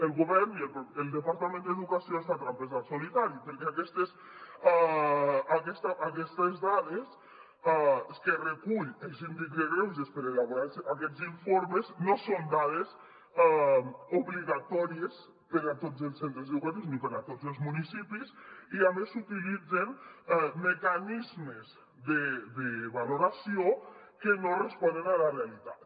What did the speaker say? el govern i el departament d’educació es fan trampes al solitari perquè aquestes dades que recull el síndic de greuges per elaborar aquests informes no són dades obligatòries per a tots els centres educatius ni per a tots els municipis i a més s’utilitzen mecanismes de valoració que no responen a la realitat